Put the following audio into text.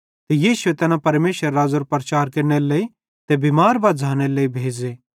ते यीशुए तैना परमेशरेरे राज़्ज़ेरो प्रचार केरनेरे लेइ ते बिमार बज़्झ़ानेरे लेइ भेज़े